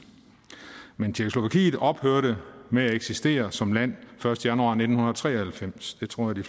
ophørte med at eksistere som land første januar nitten tre og halvfems det tror jeg